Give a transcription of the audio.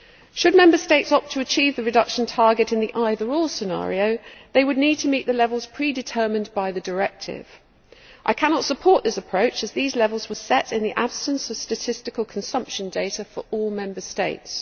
Should Member States opt to achieve the reduction target in the either or' scenario, they would need to meet the levels predetermined by the directive. I cannot support this approach, as these levels were set in the absence of statistical consumption data for all Member States.